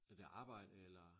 Er det arbejde eller?